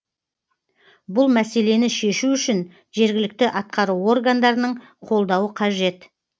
бұл мәселені шешу үшін жергілікті атқару органдарының қолдауы қажет